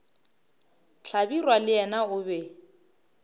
hlabirwa le yena o be